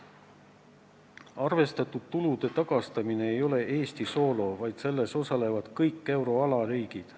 Arvestatud tulude tagastamine ei ole Eesti soolo, vaid selles osalevad kõik euroala riigid.